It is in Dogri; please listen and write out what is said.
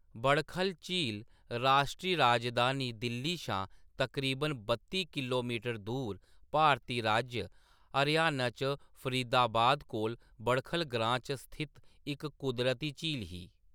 बड़खल झील राश्ट्री राजधानी दिल्ली शा तकरीबन बत्ती किलोमीटर दूर, भारती राज्य हरियाणा च फरीदाबाद कोल बड़खल ग्रां च स्थित इक कुदरती झील ही।